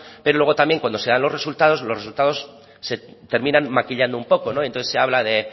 pero luego también cuando se dan los resultados los resultados se terminan maquillando un poco entonces se habla de